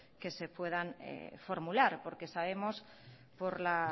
que se puedan formular porque sabemos por la